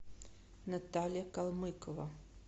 наталья калмыкова